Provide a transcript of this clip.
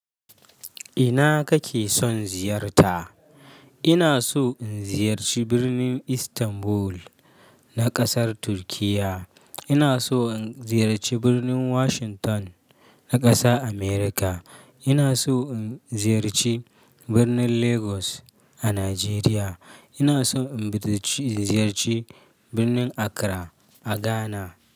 Ina kake son ziyarta? Ina so in ziyarci birnin Istanbul na ƙasar Turkiyya. Ina so in ziyarci birnin Washington na ƙasa Amurka. Ina so in ziyarci birnin Lagos a Najeriya. Ina so in ziyarci birnin Accra a Ghana.